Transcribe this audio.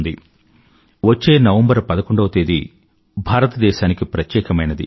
భారతదేశానికి వచ్చే నవంబర్ 11వ తేదీ ప్రత్యేకమైనది